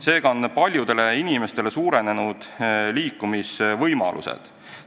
Seega on paljude inimeste liikumisvõimalused suurenenud.